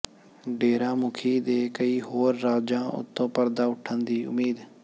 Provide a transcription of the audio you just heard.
ਡੇਰਾ ਮੁਖੀ ਦੇ ਕਈ ਹੋਰਾਂ ਰਾਜ਼ਾਂ ਤੋਂ ਪਰਦਾ ਉੱਠਣ ਦੀ ਉਮੀਦ